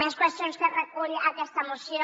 més qüestions que recull aquesta moció